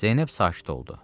Zeynəb sakit oldu.